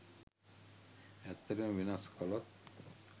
ඇත්තටම වෙනස් කලොත්